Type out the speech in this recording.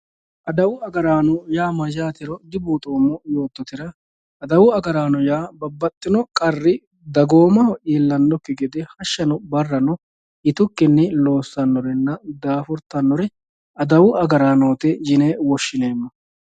adawu agaraano yaa mayaatero dibuxoomo yoototera adawu agaraano yaa dagoomaho babbaxino qarri illannokki gede hashshano barrano yitukinni loossanorenna daafurtannore adawu agaraanooti yine woshshineemo.